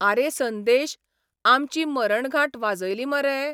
आरे संदेश, आमची मरणघांट वाजयली मरे?